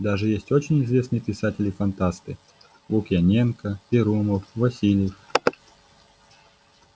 даже есть очень известные писатели фантасты лукьяненко перумов васильев